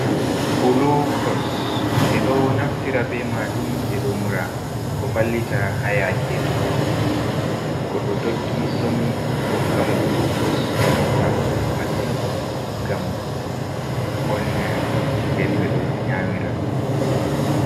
Gulukos ɓe ɗo naftira be maajum, ɓe ɗo mura ,ɗo vallita haa yaake dokkugo, to goɗɗo doggi somi, ɓe ɗo hokkamo gulukos .Ɗo nafa masin ngam volna. Nden ɓe ɗo nyamira dum.